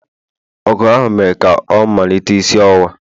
ọgụ ahụ mere ka ọ malite isi ọwụwa.